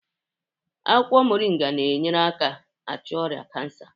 Akwụkwọ moringa na enyere aka achụ ọrịa kansa